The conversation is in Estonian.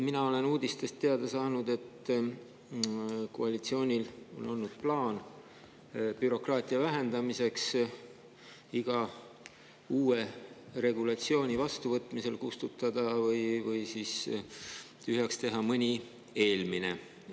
Mina olen uudistest teada saanud, et koalitsioonil on olnud plaan vähendada bürokraatiat ja iga uue regulatsiooni vastuvõtmisel kustutada või tühjaks teha mõni eelmine.